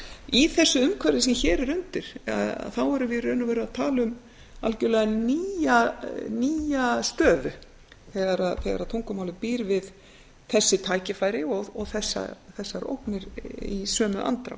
í þessu umhverfi sem hér er undir erum við í raun og veru að tala um algjörlega nýja stöðu þegar tungumálið býr við þessi tækifæri og þessar ógnir í sömu andrá